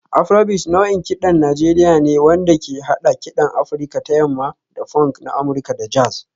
Afrobeat nau'in kiɗan Najeriya ne wanda ke haɗa kiɗan Afirka ta Yamma da funk na Amurka da jazz